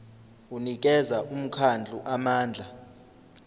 unikeza umkhandlu amandla